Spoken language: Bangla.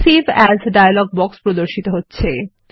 সেভ এএস ডায়লগ বক্স প্রদর্শিত হচ্ছে